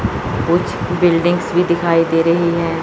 कुछ बिल्डिंग्स भी दिखाई दे रही हैं।